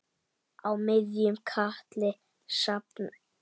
Á miðjum katli jafnan sú.